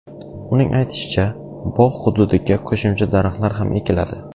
Uning aytishicha, bog‘ hududiga qo‘shimcha daraxtlar ham ekiladi.